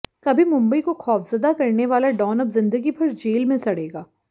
कभी मुंबई को खौफजदा करने वाला डॉन अब जिदंगी भर जेल में सड़ेगा